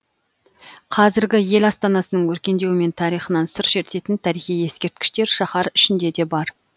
қазіргі ел астанасының өркендеуі мен тарихынан сыр шертетін тарихи ескерткіштер шаһар ішінде де бар